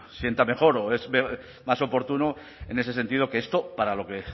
sienta mejor o es más oportuno en ese sentido que esto para lo que